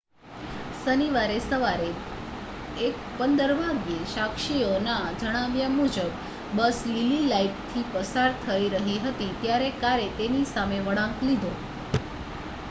શનિવારે સવારે 1 15 વાગ્યે સાક્ષીઓના જણાવ્યા મુજબ બસ લીલી લાઇટથી પસાર થઈ રહી હતી ત્યારે કારે તેની સામે વળાંક લીધો